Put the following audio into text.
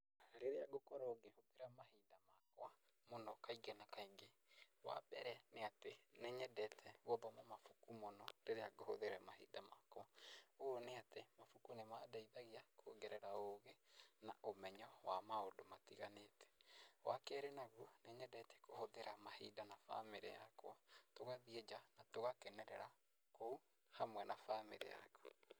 Rĩrĩa ngũkorwo ngĩhũthĩra mahinda makwa mũno kaingĩ na kaingĩ wambere nĩ atĩ nĩnyendete gũthoma mabuku mũno rĩrĩa ngũhũthĩra mahinda makwa, ũũ nĩ atĩ mabũkũ nĩmandeithagia kuongerera ũgĩ na ũmenyo wa maũndũ matiganĩte. Wakerĩ naguo, nĩnyendete kũhũthĩra mahinda na bamĩrĩ yakwa tũgathiĩ nja tũgakenerera kũu hamwe na bamĩrĩ yakwa.